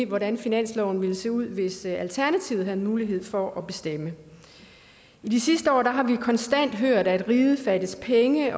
hvordan finansloven ville se ud hvis alternativet havde mulighed for at bestemme i de sidste år har vi konstant hørt at riget fattes penge